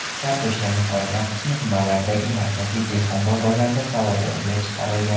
Kartoshkaning qolgan qismi tumanlardagi markaziy dehqon bozorlarida savdoga chiqarilgan.